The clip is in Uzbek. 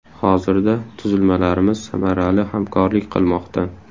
Hozirda tuzilmalarimiz samarali hamkorlik qilmoqda.